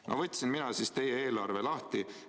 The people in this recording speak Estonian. No võtsin mina siis teie eelarve lahti.